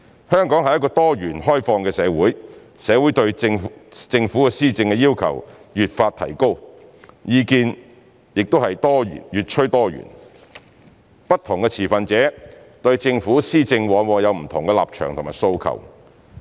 香港是一個多元、開放的社會，社會對政府施政的要求越發提高，意見越趨多元，不同持份者對政府施政往往有不同的立場和訴求。